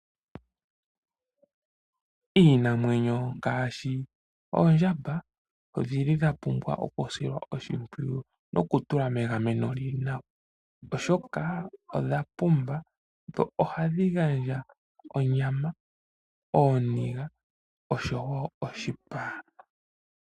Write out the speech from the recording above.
Iinamwenyo ngaashi oondjamba odhili dha pumbwa oku silwa oshipwiyu no ku tulwa megameno lili nawa. oshoka odha pumba dho ohadhi gandja onyama, ooniga osho wo oshipa.